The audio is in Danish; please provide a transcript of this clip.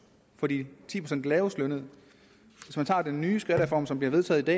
for de ti procent lavest lønnede hvis man tager den nye skattereform som bliver vedtaget i